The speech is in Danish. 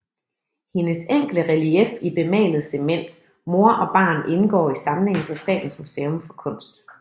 Hendes enkle relief i bemalet cement Mor og barn indgår i samlingen på Statens Museum for Kunst